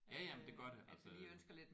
Ja ja men det gør det altså